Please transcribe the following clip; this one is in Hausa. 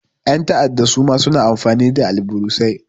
Ƴan ta'adda suma suna amfani da alburusai.